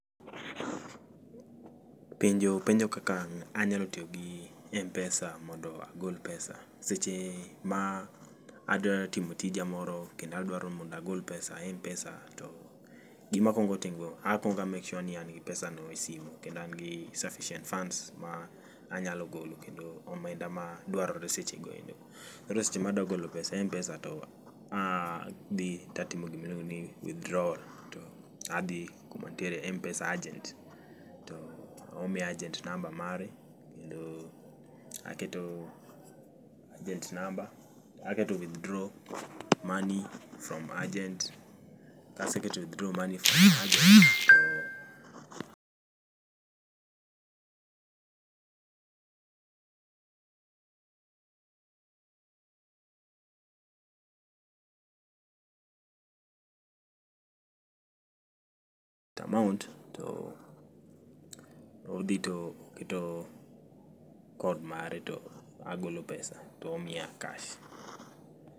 Penjo penjo kaka anyalo tiyo gi Mpesa mondo agol pesa. Seche ma adwa timo tija moro, kendo adwaro mondo agol pesa e mpesa to gima akwongo timo, akwongo a make sure ni an gi pesa no e sime kendo an gi sufficient funds ma anyalo golo kendo omenda ma dwarore seche goendo. Koro seche ma adwa golo pesa e mpesa to adhi tatimo gima iluongo ni withdrawal to adhi kuma nitiere mpesa agent to omiya agent number mare kendo aketo agent number, aketo withdraw money from agent. Kaseketo withdraw money from agent to to amount to odhi to oketo code mare to agolo pesa[s] to omiya cash.